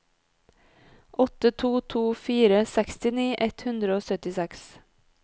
åtte to to fire sekstini ett hundre og syttiseks